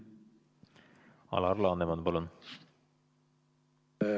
Alar Laneman, palun!